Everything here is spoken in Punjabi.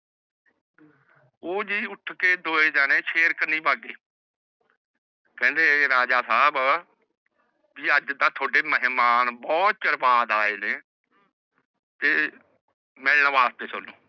ਊਹ ਜੀ ਉਠ ਕੇ ਦੋਨੋ ਜਣੇ ਸ਼ੇਰ ਕੰਨੀ ਭਗੇ ਕਹਿੰਦੇ ਰਾਜਾ ਸਾਹਬ ਜੀ ਅਜ ਤਾ ਥੋੜੇ ਮੇਹਮਾਨ ਬੋਹਤ ਚਿਰ ਬਾਦ ਆਏ ਨੇ ਤੇ ਮਿਲਣ ਵਾਸਤੇ ਸਾਨੂੰ